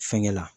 Fɛnkɛ la